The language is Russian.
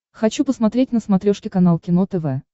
хочу посмотреть на смотрешке канал кино тв